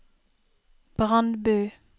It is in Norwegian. Brandbu